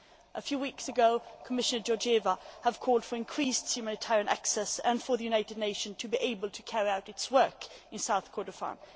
A few weeks ago, Commissioner Georgieva called for increased humanitarian access and for the United Nations to be able to carry out its work in South Kordofan.